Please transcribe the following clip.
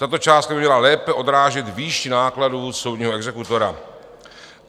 Tato částka by měla lépe odrážet výši nákladů soudního exekutora.